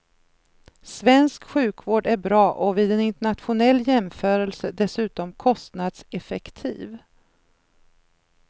Svensk sjukvård är bra och vid en internationell jämförelse dessutom kostnadseffektiv.